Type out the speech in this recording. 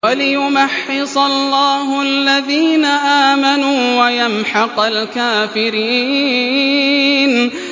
وَلِيُمَحِّصَ اللَّهُ الَّذِينَ آمَنُوا وَيَمْحَقَ الْكَافِرِينَ